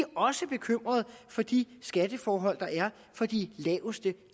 også bekymrede for de skatteforhold der er for de laveste